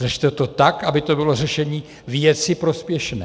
Řešte to tak, aby to bylo řešení věci prospěšné.